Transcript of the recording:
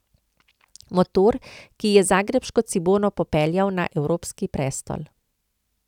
Motor, ki je zagrebško Cibono popeljal na evropski prestol.